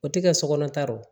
O tɛ kɛ sokɔnɔta ye o